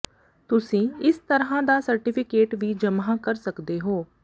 ਤੁਸੀਂ ਇਸ ਤਰ੍ਹਾਂ ਦਾ ਸਰਟੀਫਿਕੇਟ ਵੀ ਜਮ੍ਹਾ ਕਰ ਸਕਦੇ ਹੋ